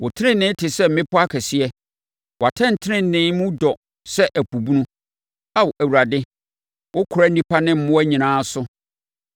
Wo tenenee te sɛ mmepɔ akɛseɛ. Wʼatɛntenenee mu dɔ sɛ ɛpo bunu. Ao Awurade, wokora nnipa ne mmoa nyinaa so.